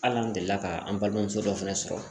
Hali an delila ka an balimamuso dɔ fɛnɛ sɔrɔ